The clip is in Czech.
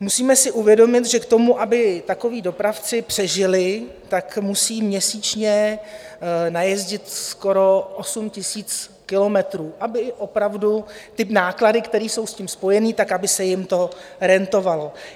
Musíme si uvědomit, že k tomu, aby takoví dopravci přežili, tak musí měsíčně najezdit skoro 8 000 kilometrů, aby opravdu ty náklady, které jsou s tím spojeny, tak aby se jim to rentovalo.